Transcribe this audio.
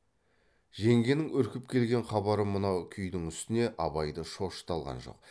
жеңгенің үркіп келген хабары мынау күйдің үстіне абайды шошыта алған жоқ